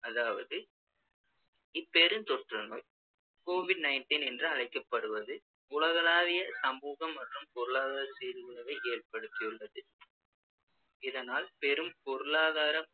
அதாவது இப்பெரும் தொற்றுநோய் covid nineteen என்று அழைக்கப்படுவது உலகளாவிய சமூக மற்றும் பொருளாதார சீர்குலைவை ஏற்படுத்தியுள்ளது இதனால் பெரும் பொருளாதார